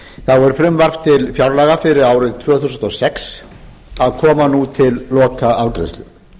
er frumvarp til fjárlaga fyrir árið tvö þúsund og sex að koma nú til lokaafgreiðslu